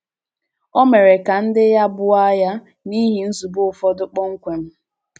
Ó mere ka ndị ya bùó àgha n’ihi nzùbè ụfọdụ kpọmkwem.